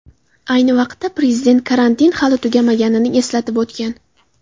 Ayni vaqtda Prezident karantin hali tugamaganini eslatib o‘tgan .